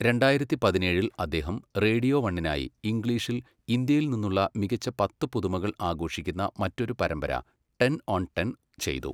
രണ്ടായിരത്തി പതിനേഴിൽ അദ്ദേഹം റേഡിയോ വണ്ണിനായി ഇംഗ്ലീഷിൽ ഇന്ത്യയിൽ നിന്നുള്ള മികച്ച പത്ത് പുതുമകൾ ആഘോഷിക്കുന്ന മറ്റൊരു പരമ്പര 'ടെൻ ഓൺ ടെൻ' ചെയ്തു.